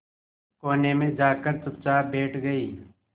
कोने में जाकर चुपचाप बैठ गई